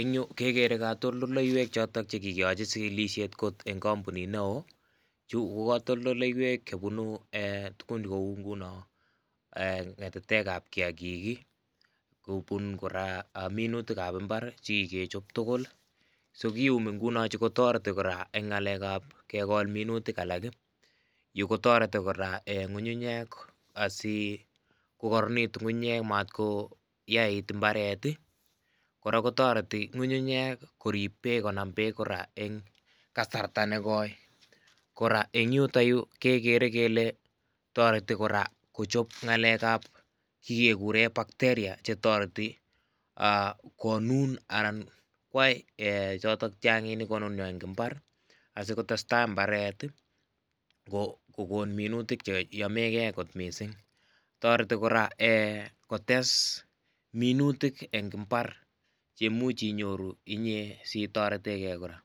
En yu kekere kotondoleiwek chekikeyochi chikilisiet ngot en kompunit neo, chu ko kotondoleiwek chebunu ee tugun kou ngunon ee ngatatekab kiagik ii , kobun koraa minutikab imbar ii chekikechop tugul so kiyumi ingunon sikotoreti koraa en ngalekab kegol minutik, yu kotoreti koraa en ngungunyek asi kokoronekitun ngungunyek maat koyait imbaret , koraa kotoreti ngungunyek korib beek konam beek koraa en kasarta negoi, koraa en yuto yu kekere kele toreti koraa kochop ngalekab kikeguren bacteria chetoreti aa konun anan koyai ee choto chon kinunio en imbar asikotestaa imbaret kokon minutik cheyomegee kot misink, toreti koraa ee kotes minutik en imbar cheimuch inyoru inyee sitorendegee koraa